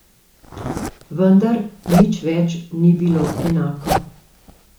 Vendar nič več ni bilo enako.